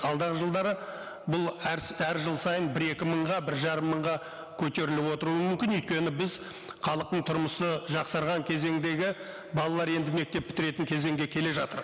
алдағы жылдары бұл әр әр жыл сайын бір екі мыңға бір жарым мыңға көтеріліп отыруы мүмкін өйткені біз халықтың тұрмысы жақсарған кезеңдегі балалар енді мектеп бітіретін кезеңге келе жатыр